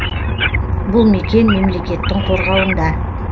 бұл мекен мемлекеттің қорғауында